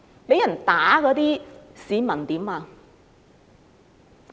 被打的市民怎麼樣？